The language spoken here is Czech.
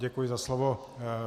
Děkuji za slovo.